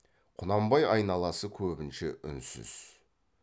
құнанбай айналасы көбінше үнсіз